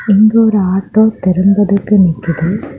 அங்க ஒரு ஆட்டோ திரும்புறதுக்கு நிக்குது.